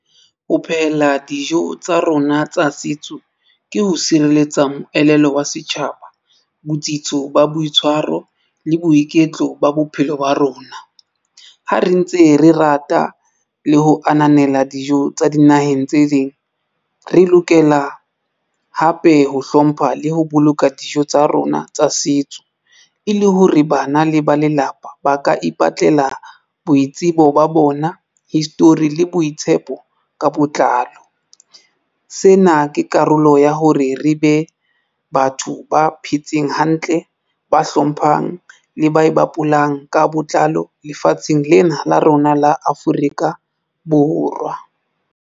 Ho phehela dijo tsa rona tsa setso ke ho sireletsa moelelo wa setjhaba, botsitso ba boitshwaro le boiketlo ba bophelo ba rona. Ha re ntse re rata le ho ananela dijo tsa dinaheng tse ding, re lokela hape ho hlompha le ho boloka dijo tsa rona tsa setso e le ho re bana le ba lelapa, ba ka ipatlela boitsebo ba bona history le boitshepo ka botlalo. Sena ke karolo ya hore re be batho ba phetseng hantle ba hlomphang le ba e bapalang ka botlalo lefatsheng lena la rona la Afrika Borwa.